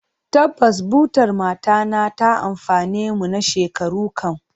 Tabbas, butar matana ta amfane mu na shekaru kam.